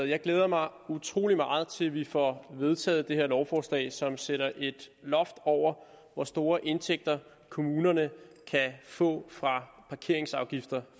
jeg glæder mig utrolig meget til vi får vedtaget det her lovforslag som sætter et loft over hvor store indtægter kommunerne kan få fra parkeringsafgifter